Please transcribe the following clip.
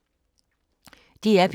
DR P3